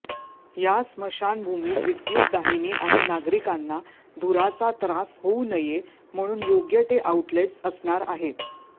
या स्मशानभूमीत विद्युतदाहिनी आणि नागरिकांना धुराचा त्रास होऊ नये म्हणून योग्य टे आउटलेट्स असणार आहेत